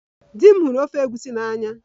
Di m hụrụ ofe egusi n'anya